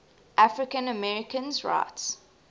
african americans rights